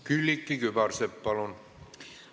Külliki Kübarsepp, palun!